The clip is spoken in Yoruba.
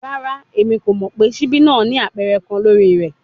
Rara, Emi ko mọ pe sibi naa ni apẹrẹ kan lori rẹ